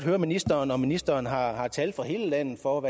høre ministeren om ministeren har har tal for hele landet for